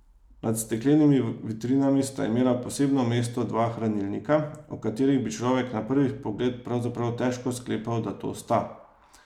Nad steklenimi vitrinami sta imela posebno mesto dva hranilnika, o katerih bi človek na prvi pogled pravzaprav težko sklepal, da to sta.